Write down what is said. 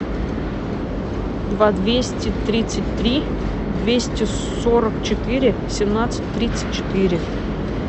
два двести тридцать три двести сорок четыре семнадцать тридцать четыре